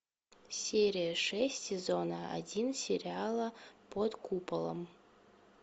серия шесть сезона один сериала под куполом